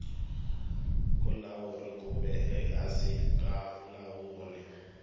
vulawuri kumbe ehansi ka vulawuri